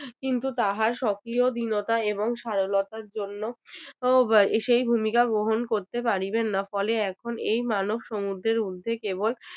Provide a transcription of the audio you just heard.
কিন্তু তাঁহার স্বকীয় দীনতা এবং সারলতার জন্য সেই ভূমিকা গ্রহণ করিতে পারিবেন না ফলে এখন এই মানব সমুদ্রের ঊর্ধ্বে কেবল